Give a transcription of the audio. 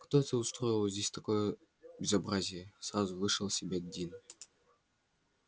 кто это устроил здесь такое безобразие сразу вышел из себя дин